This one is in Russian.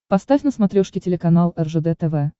поставь на смотрешке телеканал ржд тв